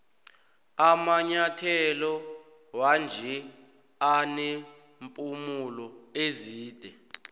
amanyathelo wanje anempumulo ezide